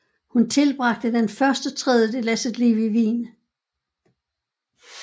Hun tilbragte den første tredjedel af sit liv i Wien